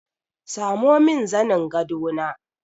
Samo min zanin gado na!